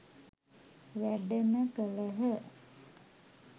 වැඩම කළහ